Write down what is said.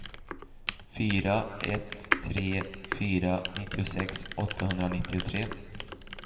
fyra ett tre fyra nittiosex åttahundranittiotre